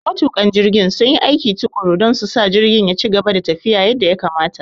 Matuƙan jirgin sun yi aiki tuƙuru don su sa jirgin ya ci gaba da tafiya yadda ya kamata.